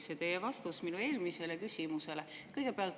See teie vastus minu eelmisele küsimusele oli muidugi väga märgiline.